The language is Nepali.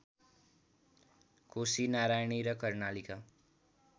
कोसी नारायणी र कर्णाली का